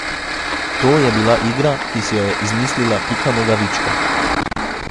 To je bila igra, ki si jo je izmislila Pika Nogavička.